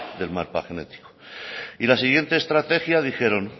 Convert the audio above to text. del mapa genético y la siguiente estrategia dijeron